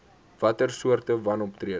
watter soorte wanoptrede